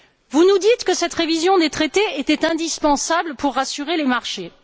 Vous nous dites que cette révision des traités était indispensable pour rassurer les marchés.